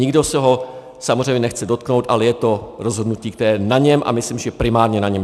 Nikdo se ho samozřejmě nechce dotknout, ale je to rozhodnutí, které je na něm, a myslím, že primárně na něm.